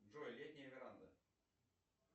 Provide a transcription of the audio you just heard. джой летняя веранда